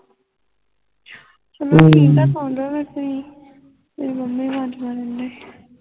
ਚਲੋ ਠੀਕ ਹੈ ਸੋ ਜਾਓ ਤੁਸੀਂ ਮੇਰੀ ਮਾਮੀ